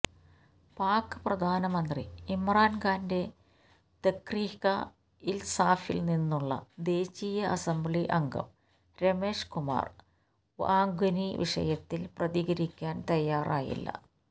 pack പ്രധാനമന്ത്രി ഇമ്രാന് ഖാന്റെ തെഹ്രീക്കെ ഇൻസാഫിൽനിന്നുള്ള ദേശീയ അസംബ്ലി അംഗം രമേഷ് കുമാർ വങ്വാനി വിഷയത്തിൽ പ്രതികരിക്കാൻ തയാറായില്ല